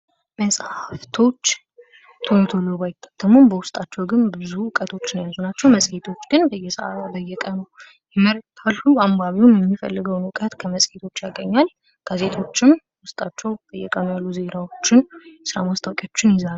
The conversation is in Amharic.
መጽሃፍቶች ቶሎቶሎ ባይታተሙም በዉስጣቸው ብዙ እውቀቶች የያዙ ናቸው መጽሄቶች ግን በየሰአቱ በየቀኑ እና አልፎ አልፎ አንባቢው የሚፈልገውን እውቀት ከመጽሄት ያገኛል። ጋዜጦችም ዜናዎችን የስራ ማስታወቂያዎችን ይይዛሉ።